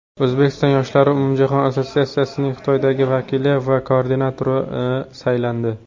O‘zbekiston yoshlari umumjahon assotsiatsiyasining Xitoydagi vakili va koordinatori saylandi.